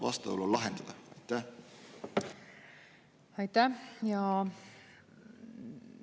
Aitäh!